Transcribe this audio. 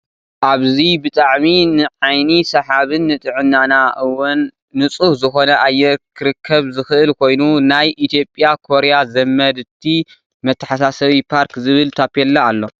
ኣብዚ ብጣዕሚ ንዓይኒ ሰሓብን ንጥዕናና እወን ኑፁህ ዝኮነ ኣየር ክርከብ ዝክእል ኮይኑ ናይ ኢትዮጰያ ኮርያ ዘመድቲ መተሓሳሰቢ ፓርክ ዝብል ታፔላ ኣሎ።